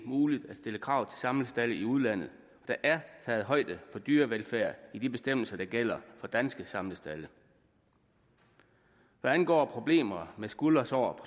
muligt at stille krav til samlestalde i udlandet der er taget højde for dyrevelfærd i de bestemmelser der gælder for danske samlestalde hvad angår problemer med skuldersår